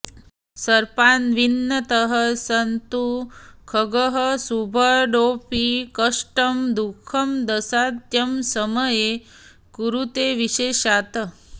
सर्पान्वितः स तु खगः शुभदोऽपि कष्टं दुःखं दशान्त्यसमये कुरुते विशेषात्